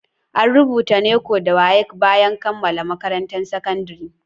An rubuta WAEC da NECO bayan kammala makarantar sakandire